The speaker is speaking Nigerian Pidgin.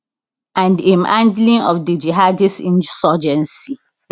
and im handling of di jihadist insurgency